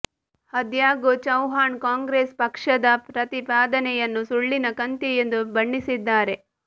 ಆದಾಗ್ಯೂ ಚೌಹಾಣ್ ಕಾಂಗ್ರೆಸ್ ಪಕ್ಷದ ಪ್ರತಿಪಾದನೆಯನ್ನು ಸುಳ್ಳಿನ ಕಂತೆ ಎಂದು ಬಣ್ಣಿಸಿದ್ದಾರೆ